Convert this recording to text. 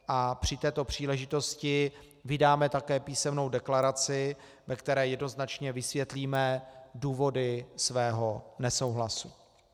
A při této příležitosti vydáme také písemnou deklaraci, ve které jednoznačně vysvětlíme důvody svého nesouhlasu.